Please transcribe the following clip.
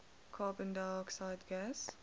carbon dioxide gas